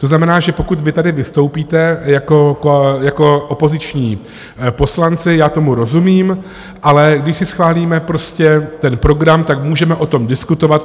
To znamená, že pokud vy tady vystoupíte jako opoziční poslanci, já tomu rozumím, ale když si schválíme prostě ten program, tak můžeme o tom diskutovat.